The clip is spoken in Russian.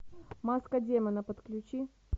маска демона подключи